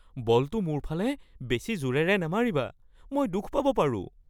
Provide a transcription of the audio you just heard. বলটো মোৰ ফালে বেছি জোৰেৰে নামাৰিবা। মই দুখ পাব পাৰোঁ।